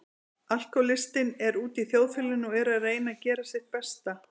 Alkohólistinn er úti í þjóðfélaginu og er að reyna að gera sitt besta.